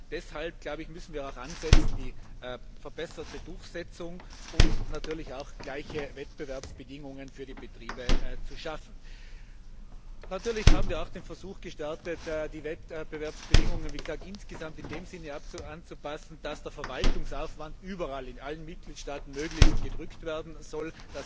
Deshalb müssen wir ansetzen, die verbesserte Durchsetzung und natürlich auch gleiche Wettbewerbsbedingungen für die Betriebe zu schaffen. Natürlich haben wir den Versuch gestartet, die Wettbewerbsbedingungen insgesamt in dem Sinne anzupassen, dass der Verwaltungsaufwand überall, in allen Mitgliedstaaten, möglichst gesenkt werden soll.